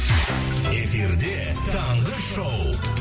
эфирде таңғы шоу